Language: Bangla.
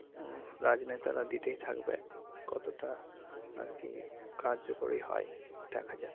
উহ রাজ নেতারা দিতেই থাকবে কতটা আরকি কার্যকরী হয় দেখা যাক।